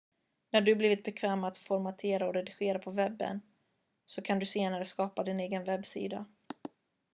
när du har blivit bekväm med att formatera och redigera på webben så kan du senare skapa din egen webbsida